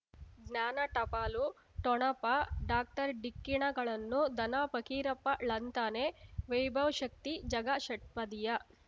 ಜ್ಞಾನ ಟಪಾಲು ಠೊಣಪ ಡಾಕ್ಟರ್ ಢಿಕ್ಕಿ ಣಗಳನು ಧನ ಫಕೀರಪ್ಪ ಳಂತಾನೆ ವೈಭವ್ ಶಕ್ತಿ ಝಗಾ ಷಟ್ಪದಿಯ